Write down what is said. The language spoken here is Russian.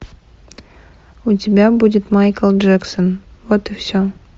у тебя будет майкл джексон вот и все